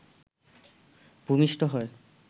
ভূমিষ্ঠ হয়